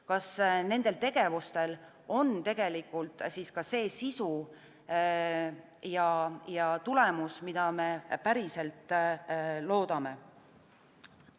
Kas nendel tegevustel on tegelikult siis ka see sisu ja tulemus, mida me päriselt loodame?